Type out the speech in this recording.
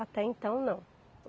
Até então, não.